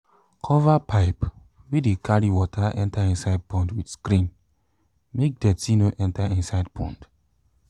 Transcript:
cover pipe wey de carry water enter inside pond with screen make dirty no enter inside pond